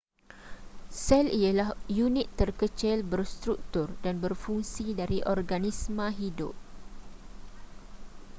sel ialah unit terkecil berstruktur dan berfungsi dari organisma hidup